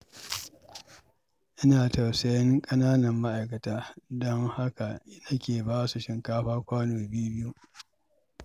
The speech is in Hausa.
Ina tausayin ƙananan ma'aikata, don haka nake ba su shinkafa kwano biyu-biyu.